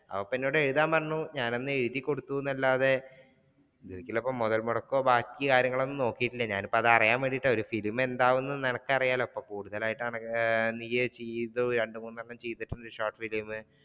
അപ്പൊ പിന്നെ എന്നോട് എഴുതാൻ പറഞ്ഞു ഞാൻ ഒന്ന് എഴുതി കൊടുത്തു എന്നല്ലാതെ മുതൽമുടക്കോ ബാക്കികാര്യങ്ങൾ ഒന്നും നോക്കിയിട്ടില്ല ഞാനിപ്പോ അതറിയാൻ വേണ്ടിയിട്ടാണ് ഒരു സിനിമ എന്താകുമെന്ന് നിനക്ക് അറിയാലോ കൂടുതൽ ആയിട്ട് നിയ് ചെയ്തു രണ്ട് മൂന്ന് എണ്ണം ചെയ്തിട്ടുണ്ട് shortfilim